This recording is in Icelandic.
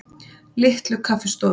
Litlu Kaffistofunni